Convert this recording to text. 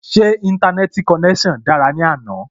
Ṣé Íńtánẹ́ẹ̀tì konẹ́sàn dára ní àná?